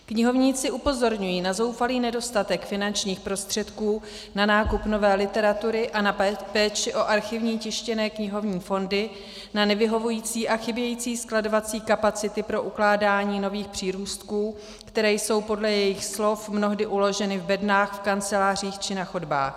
Knihovníci upozorňují na zoufalý nedostatek finančních prostředků na nákup nové literatury a na péči o archivní tištěné knihovní fondy, na nevyhovující a chybějící skladovací kapacity pro ukládání nových přírůstků, které jsou podle jejich slov mnohdy uloženy v bednách v kancelářích či na chodbách.